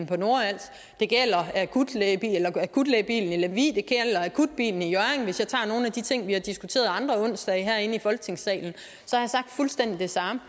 på nordals det gælder akutlægebilen i lemvig det gælder akutbilen i hjørring hvis jeg tager nogle af de ting vi har diskuteret andre onsdage herinde i folketingssalen er fuldstændig det samme